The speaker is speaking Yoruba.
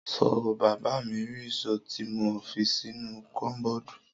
Sọ bà mi ri ìsó ti mo físìnú kọbọdù?